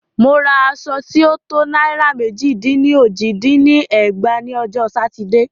Mo ra aṣọ tí o to náírà mẹ́jì dín ní ójì dín ní ẹgbàá ní ọjọ́ Sátidé.